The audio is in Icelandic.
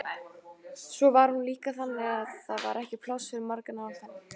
Svo var hún líka þannig að það var ekki pláss fyrir marga nálægt henni.